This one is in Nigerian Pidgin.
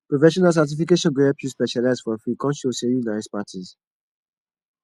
professional certification go help you specialize for field come show say you na expertise